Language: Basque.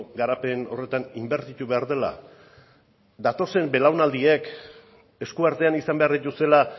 garapen horretan inbertitu behar dela datozen belaunaldiek eskuartean izan behar dituztela